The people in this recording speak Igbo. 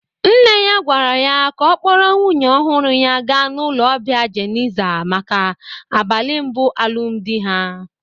Nne ya gwara ya ka ọ kpọrọ nwunye ọhụrụ ya ga n'ụlọ ọbia Jeniza maka abalị mbụ alụmdị ha!